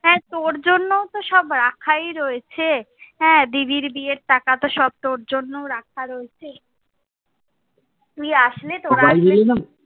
হ্যাঁ তোর জন্য তো সব রাখাই রয়েছে। হ্যাঁ দিদির বিয়ের টাকা তো সব তোর জন্যেও রাখা রয়েছে। তুই আসলে,